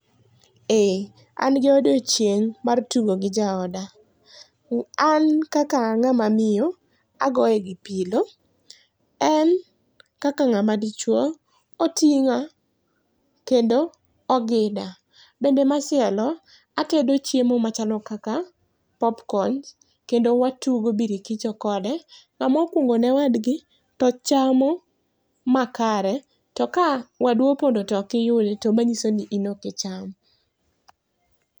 Eeeh, an gi odiochieng mar tugo gi jaoda. An kaka a ngama miyo agoye gi pillow en kaka ngama dichuo, otinga kendo ogida. Bende machielo atedo chiemo machalo kaka popcorns kendo watugo birikicho kode ngama okuongo ne wadgi to chamo makare to ka wadu opondo to ok iyude to nyisoni in ok icham